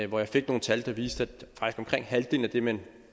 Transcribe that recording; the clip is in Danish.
hvor jeg fik nogle tal der viste at omkring halvdelen af det man